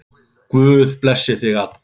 Guð blessi þig og Adda.